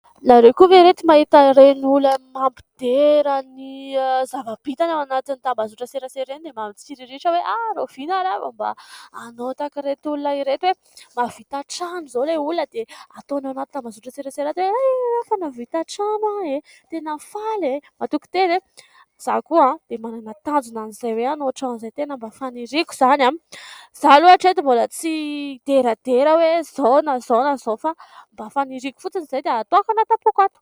Ianareo koa ve ry reto mahita ireny olona mampidera ny zava-bitany any anatin'ny tambazotra an-tserasera ireny dia mba mitsiriritra hoe rahovina ary aho vao mba anao tahak'ireto olona ireto hoe mahavita trano izao ilay olona dia ataony anaty tambazotra an-tserasera ato hoe ay io e fa nahavita trano aho e ! Tena faly e ! Mahatoky tena e ! Izaho koa dia manana tanjona an'izay hoe anao trano izay, tena mba faniriako izany, izaho aloha hatreto mbola tsy hideradera hoe izao na izao na izao fa mba faniriako fotsiny izay dia ataoko ato am-poko ato.